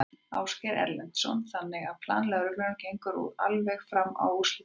Ásgeir Erlendsson: Þannig að plan lögreglunnar gengur út á alveg fram að úrslitaleik?